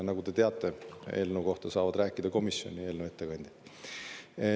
Nagu te teate, eelnõu kohta saavad rääkida komisjon ja eelnõu ettekandja.